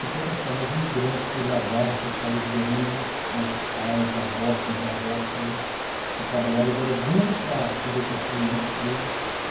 Se for pensar nos imigrantes que largaram os seus países de origem, nossos pais, avós, bisavós, todos, que trabalharam e deram duro para poder construir isso tudo.